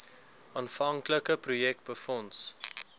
aanvanklike projek befonds